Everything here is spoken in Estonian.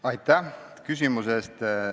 Aitäh küsimuse eest!